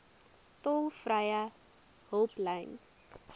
tolvrye hulplyn